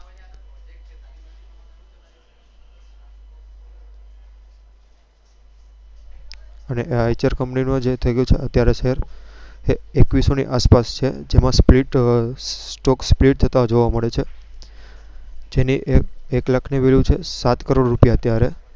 Eicher Company નો જે થઇ ગયો છે અત્યારે share એક્વીસો ની આસપાસ છે. જેમા stock split જોથતા જોવા મળે છે. જેની એક લાખ ની